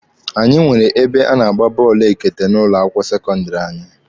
Anyị nwere ebe a na-agba bọọlụ ekete n'ụlọ akwụkwọ sekọndịrị anyị.